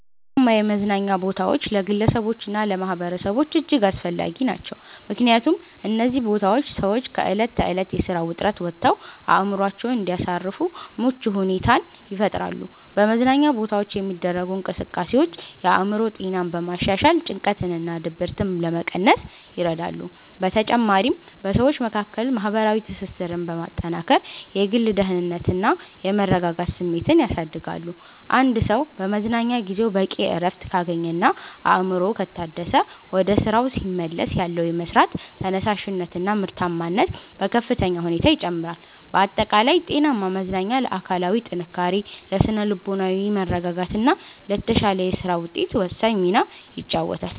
ጤናማ የመዝናኛ ቦታዎች ለግለሰቦችና ለማኅበረሰቦች እጅግ አስፈላጊ ናቸው። ምክንያቱም እነዚህ ቦታዎች ሰዎች ከዕለት ተዕለት የሥራ ውጥረት ወጥተው አእምሮአቸውን እንዲያሳርፉ ምቹ ሁኔታን ይፈጥራሉ። በመዝናኛ ቦታዎች የሚደረጉ እንቅስቃሴዎች የአእምሮ ጤናን በማሻሻል ጭንቀትንና ድብርትን ለመቀነስ ይረዳሉ። በተጨማሪም በሰዎች መካከል ማህበራዊ ትስስርን በማጠናከር የግል ደህንነትና የመረጋጋት ስሜትን ያሳድጋሉ። አንድ ሰው በመዝናኛ ጊዜው በቂ እረፍት ካገኘና አእምሮው ከታደሰ፣ ወደ ሥራው ሲመለስ ያለው የመሥራት ተነሳሽነትና ምርታማነት በከፍተኛ ሁኔታ ይጨምራል። ባጠቃላይ ጤናማ መዝናኛ ለአካላዊ ጥንካሬ፣ ለሥነ-ልቦናዊ መረጋጋትና ለተሻለ የሥራ ውጤት ወሳኝ ሚና ይጫወታል።